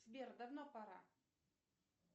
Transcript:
сбер давно пора